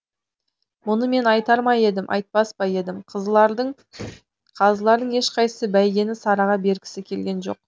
мұны мен айтар ма едім айтпас па едім қазылардың ешқайсысы бәйгені сараға бергісі келген жоқ